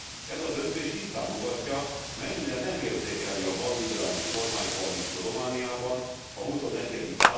Ez a döntés tisztán mutatja, mennyire nem érzékeli a balliberális kormánykoalíció Romániában a XXI.